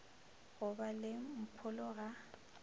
go ba le mpholo ga